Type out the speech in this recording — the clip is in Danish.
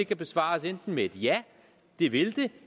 kan besvares med enten ja det vil den